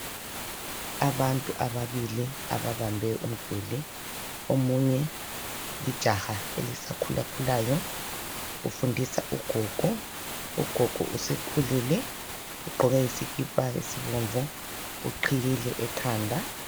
Abantu ababili ababambe umduli, omunye lijaha elisa khula khulayo ufundisa ugogo, ugogo usekhulile ugqoke isikipa esibomvu, uqhiyile ekhanda.